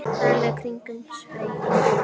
örlög kringum sveima